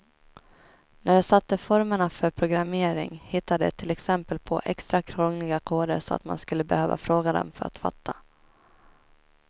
När de satte formerna för programmering hittade de till exempel på extra krångliga koder så att man skulle behöva fråga dem för att fatta.